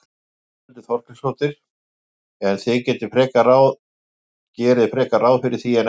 Þórhildur Þorkelsdóttir: En þið gerið frekar ráð fyrir því en ekki?